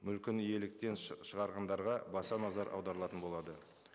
мүлкін иеліктен шығарғандарға баса назар аударылатын болады